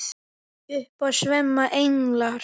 Upp af sveima englar.